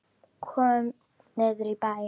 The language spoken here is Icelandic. Komum niður í bæ!